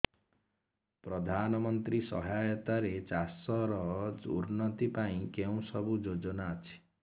ପ୍ରଧାନମନ୍ତ୍ରୀ ସହାୟତା ରେ ଚାଷ ର ଉନ୍ନତି ପାଇଁ କେଉଁ ସବୁ ଯୋଜନା ଅଛି